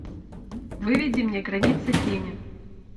выведи мне границы тени